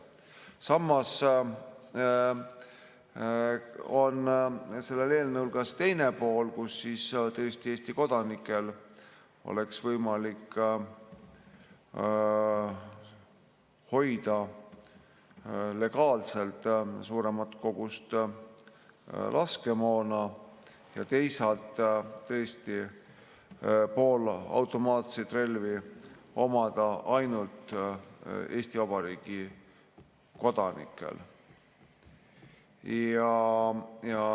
Samas on sellel eelnõul ka teine pool, et Eesti kodanikel oleks võimalik hoida legaalselt suuremat kogust laskemoona ja teisalt oleks õigus poolautomaatseid relvi omada ainult Eesti Vabariigi kodanikel.